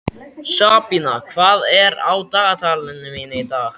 Sabína, hvað er á dagatalinu mínu í dag?